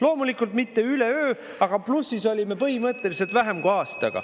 Loomulikult mitte üleöö, aga plussis olime põhimõtteliselt vähem kui aastaga.